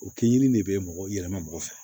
O kɛ yiri de bɛ mɔgɔ yɛlɛma mɔgɔ fɛ